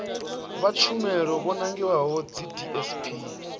vha tshumelo vho nangiwaho dzidsp